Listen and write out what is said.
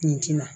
Nin ti na